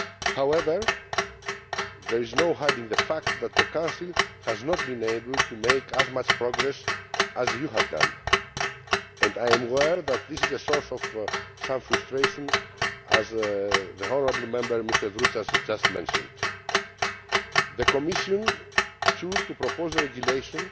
However, there is no hiding the fact that the Council has not been able to make as much progress as you have done, and I am aware that this is a source of some frustration, as the honourable Member Mr Droutsas has just mentioned. The Commission chose to propose a regulation,